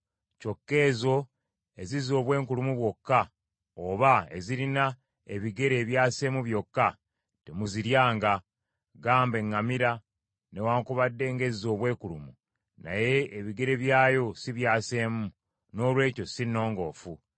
Kyokka ezo ezizza obwenkulumu bwokka, oba ezirina ebigere ebyaseemu byokka, temuziryanga. Ggamba eŋŋamira, newaakubadde ng’ezza obwenkulumu naye ebigere byayo si byaseemu; noolwekyo si nnongoofu.